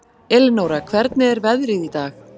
Elinóra, hvernig er veðrið í dag?